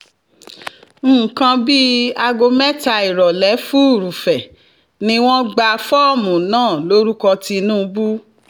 nǹkan bíi aago mẹ́ta ìrọ̀lẹ́ furuufee ni wọ́n gba fọ́ọ̀mù náà lórúkọ tinubu